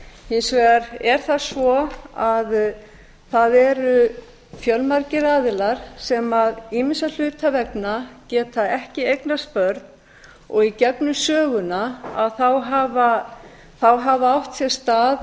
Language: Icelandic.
hins vegar er það svo að það eru fjölmargir aðilar sem ýmissa hluta vegna geta ekki eignast börn og í gegnum söguna hafa átt sér stað